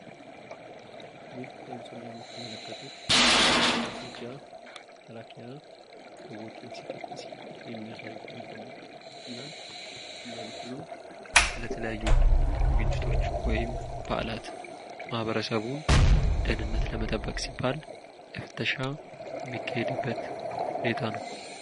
ይህ በምስሉ ላይ የምትመለከቱት የኢትዮጵያ መከላከያ ህዝቦቸን ሲፈትሽ ነው። ይህም ለህዝቦቹ ደህንነት ሲባል የሚደረግ ሁኔታ ነው።